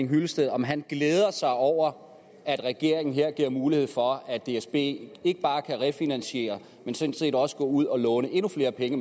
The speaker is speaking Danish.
hyllested om han glæder sig over at regeringen her giver mulighed for at dsb ikke bare kan refinansiere men sådan set også kan gå ud og låne endnu flere penge